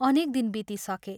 अनेक दिन बितिसके।